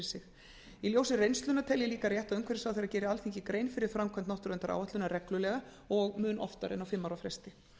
sig í ljósi reynslunnar tel ég líka rétt að umhverfisráðherra geri alþingi grein fyrir framkvæmd náttúruverndaráætlunar reglulega og oftar en á fimm ára fresti